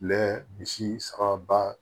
misi sababa